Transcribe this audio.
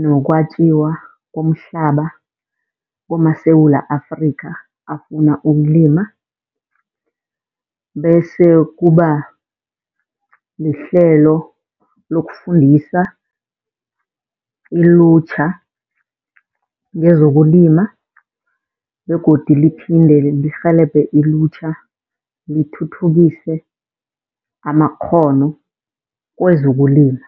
nokwatjiwa komhlaba kumaSewula Afrikha, afuna ukulima. Bese kuba lihlelo lokufundisa ilutjha ngezokulima begodu lithinte, lirhelebhe ilutjha lithuthukise amakghono kwezokulima.